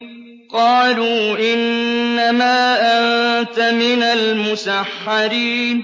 قَالُوا إِنَّمَا أَنتَ مِنَ الْمُسَحَّرِينَ